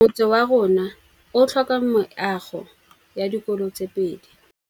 Motse warona o tlhoka meago ya dikolô tse pedi.